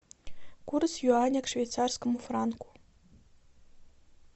курс юаня к швейцарскому франку